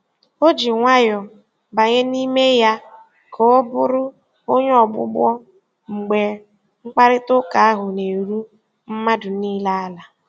O ji nwayọọ banye n'ime ya ka ọ bụrụ onye ogbugbo mgbe mkparịta ụka ahụ na-eru mmadụ niile ala.